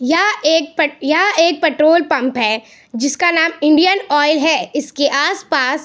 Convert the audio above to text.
यह एक यह एक पेट्रोल पंप है जिसका नाम इंडियन आयल है इसके आस-पास --